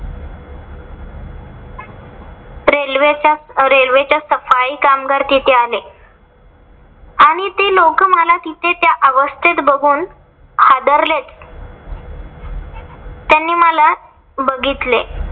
रेल्वेच्या रेल्वेच्या सफाई कामगार तिथे आले. आणि ते लोकं मला तिथे त्या अवस्थेत बघून हादरलेच. त्यांनी मला बघितले.